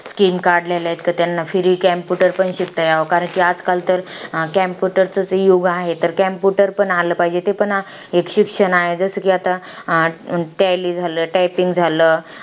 King card लिहायला इतकं त्यांना free computer पण शिकता याव. कारण आजकाल तर computer चं युग आहे. तर computer पण आलं पाहिजे. ते पण एक शिक्षण आहे. जसं कि आता tally झालं. Typing झालं.